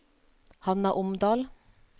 Hanna Omdal